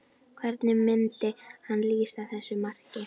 Hvernig myndi hann lýsa þessu marki?